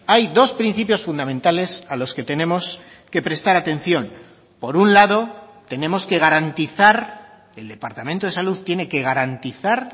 hay dos principios fundamentales a los que tenemos que prestar atención por un lado tenemos que garantizar el departamento de salud tiene que garantizar